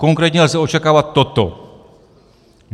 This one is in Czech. Konkrétně lze očekávat toto: